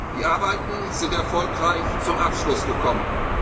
waren. Die Arbeiten sind erfolgreich zum Abschluss